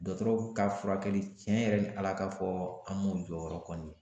Dɔgɔtɔrɔw ka furakɛli tiɲɛ yɛrɛ ni ala ka fɔ an m'o jɔyɔrɔ kɔni